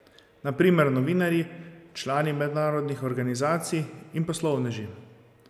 Na primer novinarji, člani mednarodnih organizacij in poslovneži.